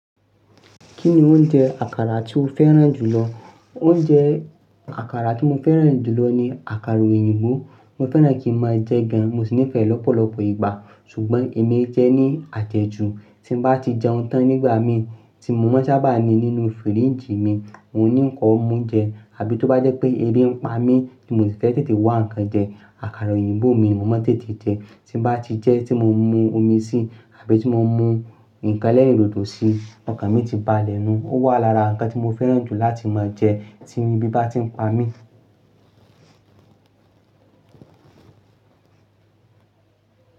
Kí ni oúnjẹ àkàrà tí o fẹ́ràn jù lọ? Oúnjẹ àkàrà tí mo fẹ́ràn jù lọ ni àkàrà òyìnbó. Mo fẹ́ràn kí n máa jẹ gan, mo sì nífẹ̀ẹ́ lọ́pọ̀lọpọ̀ ìgbà. Ṣùgbọ́n èmi i jẹ́ ní àjẹjù, tí ń bá ti jẹun tán nígbà mí tí mo máa sábà ni nínú fíríjì mi, oun ní ń kó mú jẹ, àbí tó bá jẹ́ pé ẹbí ń pa mí tí mo sì fẹ́ tètè wá nǹkan jẹ, àkàrà òyìnbó mi mo mọ̀ tètè jẹ. Tí bá ti jẹ́ tí mo mú omi síi, àbí tí mo mú nǹkan ẹlẹ́rìndòdò síi, ọ̀kán mi ti ba nú, ó wà lára nǹkan tí mo fẹ́ràn jù láti máa jẹ tí ebí bá ti ń pa mí.